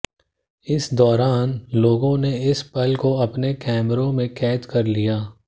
इस दौरान लोगों ने इस पल को अपने कैमरे में कैद कर लिया